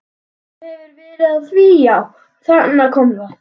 Svo þú hefur verið að því já, þarna kom það.